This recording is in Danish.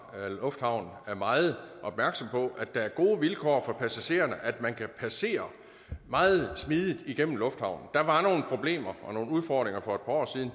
lufthavn er meget opmærksom på at der er gode vilkår for passagererne at man kan passere meget smidigt igennem lufthavnen der var nogle problemer og nogle udfordringer for et par år siden